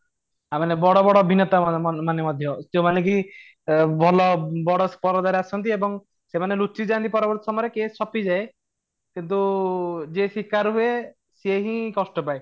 ୟା ମାନେ ବଡ ବଡ ଅଭିନେତା ମାନେ ମାନେ ମଧ୍ୟ ଯୋଉମାନେ କି ଭଲ ବଡ ପରଦା ରେ ଆସନ୍ତି ଏବଂ ସେମାନେ ଲୁଚି ଯାନ୍ତି ପରବର୍ତୀ ସମୟରେ କିଏ ଛପିଯାଏ କିନ୍ତୁ ଯେ ଶିକାର ହୁଏ ସେ ହିଁ କଷ୍ଟ ପାଏ